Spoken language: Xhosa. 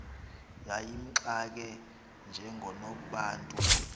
yayimxake njengonobantu lo